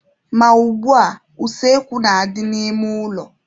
Ma ugbua, useekwu na-adị n'ime ụlọ.